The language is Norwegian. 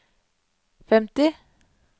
femti